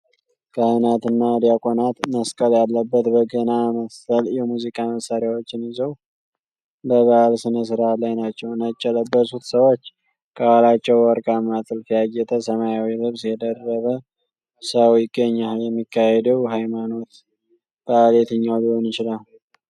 ካህናት እና ዲያቆናት መስቀል ያለበት በገና መሰል የሙዚቃ መሣሪያዎችን ይዘው በበዓል ሥነ ሥርዓት ላይ ናቸው። ነጭ የለበሱት ሰዎች ከኋላቸው በወርቃማ ጥልፍ ያጌጠ ሰማያዊ ልብስ የደረበ ሰው ይገኛል። የሚካሄደው የሃይማኖት በዓል የትኛው ሊሆን ይችላል?